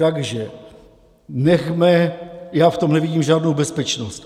Takže nechme, já v tom nevidím žádnou bezpečnost.